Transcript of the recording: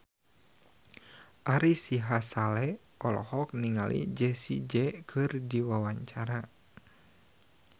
Ari Sihasale olohok ningali Jessie J keur diwawancara